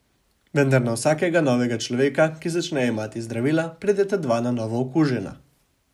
Vendar na vsakega novega človeka, ki začne jemati zdravila, prideta dva na novo okužena.